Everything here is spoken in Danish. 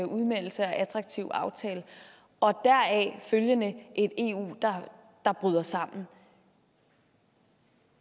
udmeldelse og attraktive aftale og deraf følgende et eu der bryder sammen